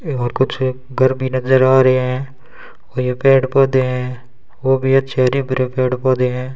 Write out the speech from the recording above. और कुछ घर भी नजर आ रहे हैं और ये पेड़ पौधे हैं वो भी अच्छे हरे भरे पेड़ पौधे हैं।